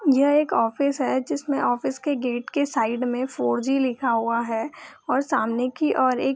यह एक ऑफिस है जिसमे ऑफिस के गेट के साइड में फॉर जी लिखा हुआ है और सामने की ओर एक --